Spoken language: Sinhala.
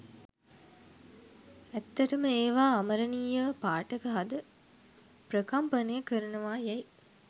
ඇත්තටම ඒවා අමරණීයව පාඨක හද ප්‍රකම්පනය කරනවා යැයි